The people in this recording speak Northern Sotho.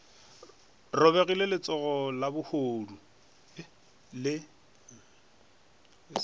robegile le letsogo lehodu le